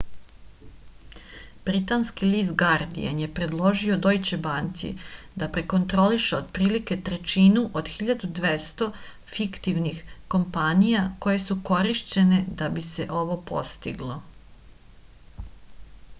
britanski list gardijan je predložio dojče banci da prekontroliše otprilike trećinu od 1200 fiktivnih kompanija koje su korišćene da bi se ovo postiglo